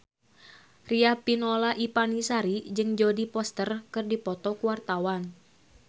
Riafinola Ifani Sari jeung Jodie Foster keur dipoto ku wartawan